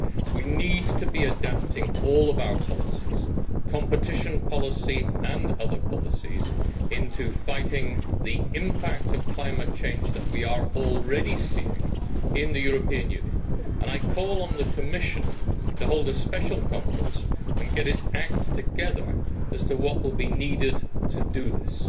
We need to be adapting all of our policies, competition policy and other policies, to fight the impact of climate change that we are already seeing in the European Union, and I call on the Commission to hold a special conference and get its act together as to what will be needed to do this.